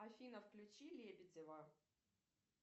афина включи лебедева